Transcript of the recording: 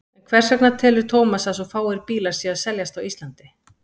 En hvers vegna telur Thomas að svo fáir bílar séu að seljast á Íslandi?